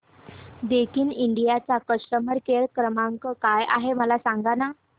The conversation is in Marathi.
दैकिन इंडिया चा कस्टमर केअर क्रमांक काय आहे मला सांगा